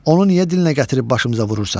Onu niyə dilinə gətirib başımıza vurursan?